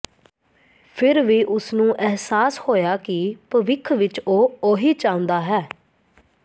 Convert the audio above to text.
ਫਿਰ ਵੀ ਉਸ ਨੂੰ ਅਹਿਸਾਸ ਹੋਇਆ ਕਿ ਭਵਿੱਖ ਵਿੱਚ ਉਹ ਉਹੀ ਚਾਹੁੰਦਾ ਹੈ